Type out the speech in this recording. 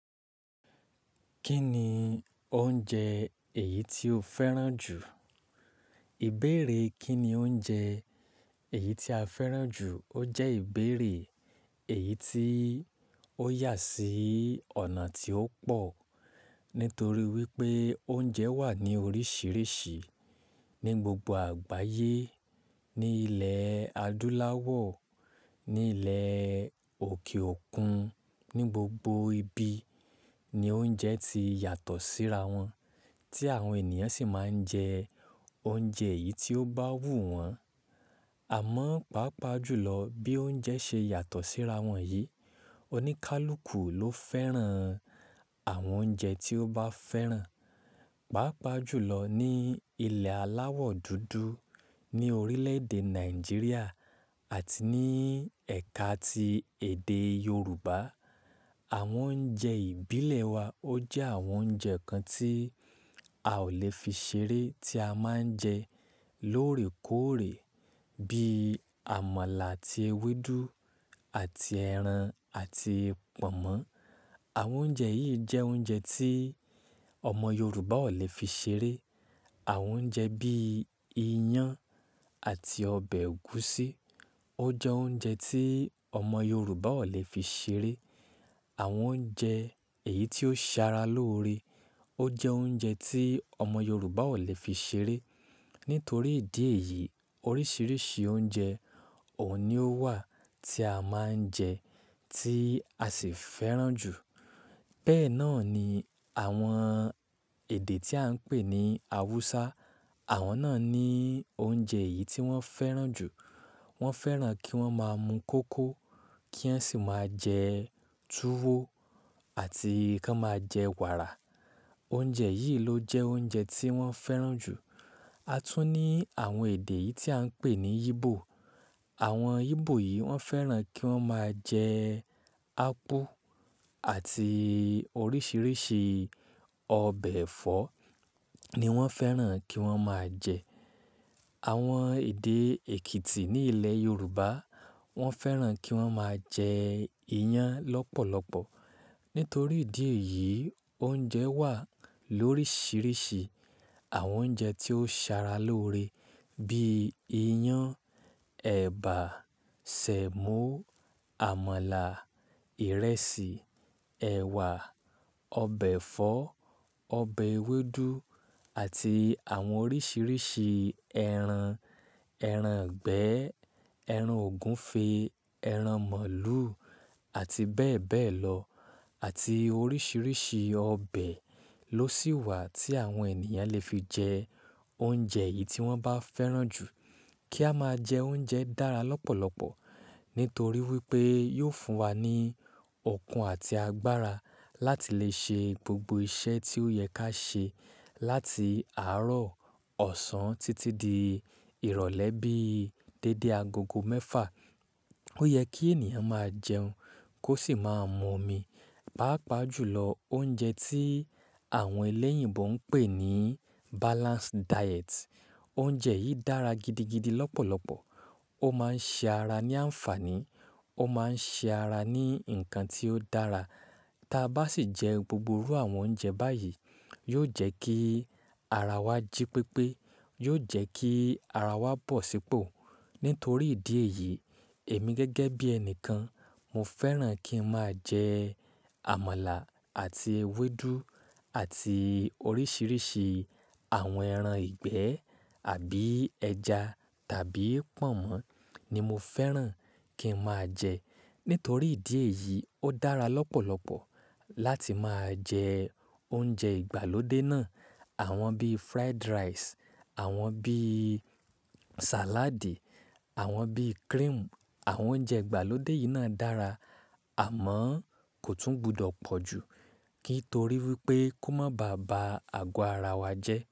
Kí ni oúnjẹ èyí tí o fẹ́ràn jù? Ìbéèrè kí ni oúnjẹ èyí tí a fẹ́ràn jù, ó jẹ́ ìbéèrè èyí tí ó yà sí ọ̀nà tí ó pọ̀. Nítorí wípé oúnjẹ wà ní oríṣiríṣi ní gbogbo àgbáyé, ní ilẹ̀ adúláwọ̀, ní ilẹ̀ òkè òkun, ní gbogbo ibi ni oúnjẹ ti yàtọ̀ síra wọn. Tí àwọn ènìyàn sì máa ń jẹ oúnjẹ yìí tí ó bá wù wọ́n. Àmọ́, pàápàá jùlọ bí oúnjẹ ṣe yàtọ̀ síra wọn yìí, oníkálukú ló fẹ́ràn àwọn oúnjẹ tí ó bá fẹ́ràn. Pàápàá jùlọ ní ilẹ̀ aláwọ̀ dúdú, ní orílẹ̀-èdè Nàìjíríà àti ní ẹ̀ka ti èdè Yorùbá. Àwọn oúnjẹ ìbílẹ̀ wa ó jẹ́ àwọn oúnjẹ kan tí a ò le fi ṣeré tí a máa ń jẹ lóòrèkóòrè. Bí i àmàlà àti ewédú àti ẹran àti pọ̀nmọ́n Àwọn oúnjẹ yìí jẹ́ oúnjẹ tí ọmọ Yorùbá ò le fi ṣeré. Àwọn oúnjẹ bí i iyán àti ọbẹ̀ ẹ̀gúsí ó jẹ́ oúnjẹ tí ọmọ Yorùbá ò le fi ṣeré. Àwọn oúnjẹ èyí tí ó sara lóore ó jẹ́ oúnjẹ tí ọmọ Yorùbá ò le fi ṣeré. Nítorí ìdí èyí oríṣiríṣi oúnjẹ ò ní ó wà tí a máa ń jẹ tí a sì fẹ́ràn jù. Bẹ́ẹ̀ náà ni àwọn èdè tí à ń pè ní Awúsá. Àwọn náà ní oúnjẹ yìí tí wọ́n fẹ́ràn jù. Wọ́n fẹ́ràn kí wọ́n máa mu kókò kí wọn sì máa jẹ túwó àti kí wọ́n máa jẹ wàrà. Oúnjẹ yìí ló jẹ́ oúnjẹ tí wọ́n fẹ́ràn jù. A tún ní àwọn èdè yìí tí à ń pè ní Igbo. Àwọn Igbo yìí wọ́n fẹ́ràn kí wọ́n máa jẹ ápú àti oríṣiríṣi ọbẹ̀ ẹ̀fọ́ ni wọ́n fẹ́ràn kí wọ́n máa jẹ. Àwọn èdè Èkìtì ní ilẹ̀ Yorùbá wọ́n fẹ́ràn kí wọ́n máa jẹ iyán lọ́pọ̀lọpọ̀. Nítorí ìdí èyí oúnjẹ wà lóríṣiríṣi. Àwọn oúnjẹ tí ó sara lóore bíi iyán, ẹ̀bà, sẹ̀mọ́, àmàlà, ìrẹsì, ẹ̀wà, ọbẹ̀ ẹ̀fọ́, ọbẹ̀ ewédú àti àwọn oríṣiríṣi ẹran. Eran ìgbẹ́, ẹran ògúnfe, ẹran mọ̀lú àti bẹ́ẹ̀ bẹ́ẹ̀ lọ àti oríṣiríṣi ọbẹ̀ ló sì wà tí àwọn ènìyàn lè fi jẹ oúnjẹ yìí tí wọ́n bá fẹ́ràn jù. Kí a máa jẹ oúnjẹ dára lọ́pọ̀lọpọ̀ nítorí wípé yóò fún wa ní ọkàn àti agbára láti lè ṣe gbogbo iṣẹ́ tí ó yẹ ká ṣe láti àárọ̀ ọ̀sán títí di ìrọ̀lẹ́ bí i dédé agogo mẹ́fà. Ó yẹ kí ènìyàn máa jẹun kó sì máa mu omi. Pàápàá jùlọ oúnjẹ tí àwọn elẹ́yìnbo ń pè ní balanced diet. Oúnjẹ yìí dára gidi gidi lọ́pọ̀lọpọ̀. Ó máa ń ṣe ara ní àǹfàní, ó máa ń ṣe ara ní nǹkan tí ó dára. Taa bá sì jẹ gbogbo irú àwọn oúnjẹ báyìí, yóò jẹ́ kí ara wa jí pépé. Yóò jẹ́ kí ara wa bọ̀ sípò. Nítorí ìdí èyí èmi gẹ́gẹ́ bí ẹni kan mo fẹ́ràn kí n máa jẹ àmàlà àti ewédú àti oríṣiríṣi àwọn ẹran ìgbẹ́ àbí ẹja tàbí pọ̀nmọ́ ni mo fẹ́ràn kí n máa jẹ. Nítorí ìdí èyí ó dára lọ́pọ̀lọpọ̀ láti máa jẹ oúnjẹ ìgbàlódé náà. Àwọn bíi fried rice, àwọn bíi salad, àwọn bíi cream. Àwọn oúnjẹ ìgbàlódé yìí náà dára àmọ́ kò tún gbọdọ̀ pọ̀ ju kí n torí wípé kó máa ba àba àgọ́ ara wa jẹ́.